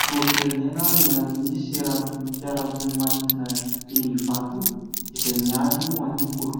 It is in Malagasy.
filoham-pirenena eny amin'ny seranam-piaramanidina eny Ivato izay miady ho an'ny kolikoly.